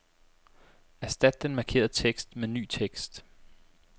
Erstat den markerede tekst med ny tekst.